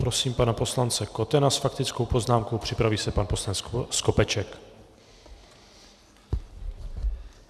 Prosím pana poslance Kotena s faktickou poznámkou, připraví se pan poslanec Skopeček.